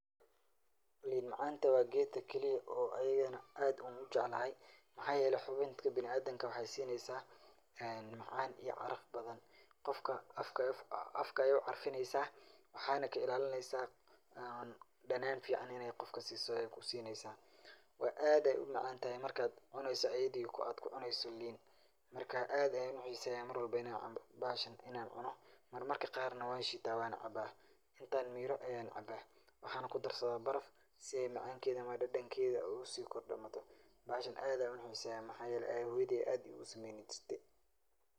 Lin macanta waa gedka keliya oo an ayagan aad ogu jecalahay maxa yele xubinka bini adamka waxay sineysa macaan iyo caraf badan, qofka afka ayay u carfineysa waxayna ka ilaalineysa dhanan fican inay qofka siiso ay kusineysa waa ad ayay umacan tahay markad cuneyso ad kucuneyso lin marka aad ayan uxiiseya Mar walbo bahashan inan cuno Mar marka qaar na wan shiita wan cabaa, intan miiro ayan cabaa waxana kudarsadaa baraf si ay macankeeda mise dhedhankeeda usi kordamato bahashan aad ayan uxiiseya maxayele hoyoodey aya aad igu sameeyni jirte